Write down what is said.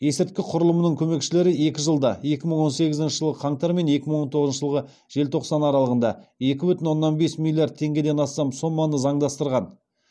есірткі құрылымының көмекшілері екі жылда екі бүтін оннан бес миллиард теңгеден астам соманы заңдастырған